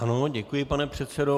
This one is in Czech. Ano, děkuji, pane předsedo.